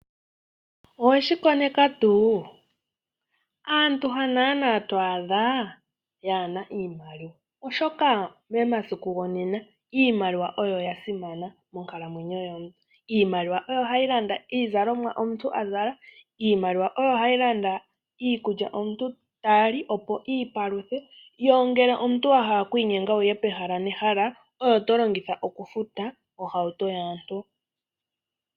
Owe shi koneka tuu? Aantu ha nuupu naana to adha yaa na iimaliwa, oshoka monena iimaliwa oyo ya simana monkalamwenyo yomuntu. Iimaliwa oyo hayi landa iizalomwa omuntu a zala, iimaliwa oyo hayi landa iikulya omuntu ta li, opo i ipaluthe, ngele omuntu wa hala oku inyenga okuya pehala nehala oyo to longitha okufuta ohauto yaantu.